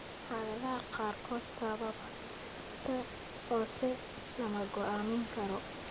Xaaladaha qaarkood sababta hoose lama go'aamin karo.